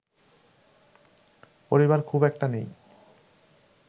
পরিবার খুব একটা নেই